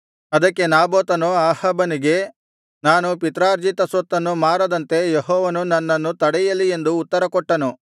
ಅದಕ್ಕೆ ನಾಬೋತನು ಅಹಾಬನಿಗೆ ನಾನು ಪಿತ್ರಾರ್ಜಿತ ಸ್ವತ್ತನ್ನು ಮಾರದಂತೆ ಯೆಹೋವನು ನನ್ನನ್ನು ತಡೆಯಲಿ ಎಂದು ಉತ್ತರಕೊಟ್ಟನು